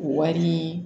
Wari